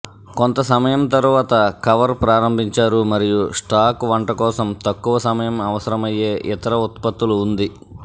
కొంత సమయం తరువాత కవర్ ప్రారంభించారు మరియు స్టాక్ వంట కోసం తక్కువ సమయం అవసరమయ్యే ఇతర ఉత్పత్తులు ఉంది